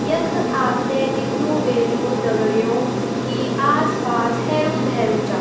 यख आपथे दिख्नु वेलु दगडियों की आस पपस हेरू भेरू चा ।